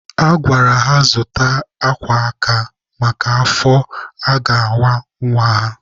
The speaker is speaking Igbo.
A gwara ha zụta akwa aka maka afọ a ga-awa nwa ha.